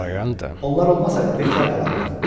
Onlar olmasaydı bekar qalardın.